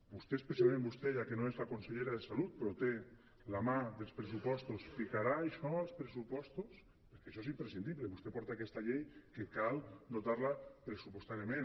vostè precisament vostè ja que no és la consellera de salut però té la mà dels pressupostos ficarà això als pressupostos perquè això és imprescindible vostè porta aquesta llei que cal dotar la pressupostàriament